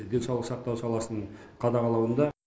денсаулық сақтау саласының қадағалауында